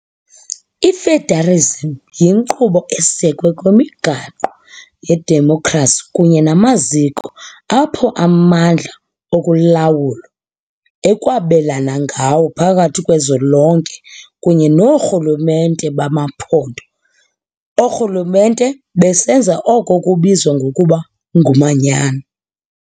I-Federasm yinkqubo esekwe kwimigaqo yedemokhrasi kunye namaziko apho amandla okulawula ekwabelwana ngawo phakathi kozwelonke kunye noorhulumente bamaphondo - oorhulumente, besenza oko kubizwa ngokuba ngumanyano.